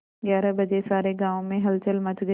ग्यारह बजे सारे गाँव में हलचल मच गई